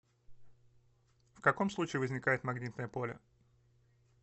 в каком случае возникает магнитное поле